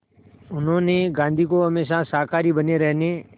उन्होंने गांधी को हमेशा शाकाहारी बने रहने